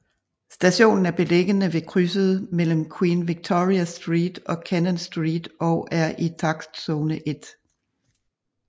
Stationen er beliggende ved krydset mellem Queen Victoria Street og Cannon Street og er i takstzone 1